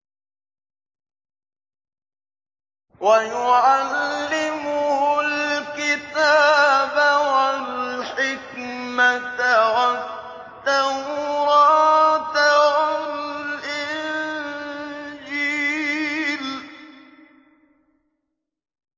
وَيُعَلِّمُهُ الْكِتَابَ وَالْحِكْمَةَ وَالتَّوْرَاةَ وَالْإِنجِيلَ